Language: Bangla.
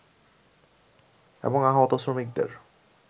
এবং আহত শ্রমিকদের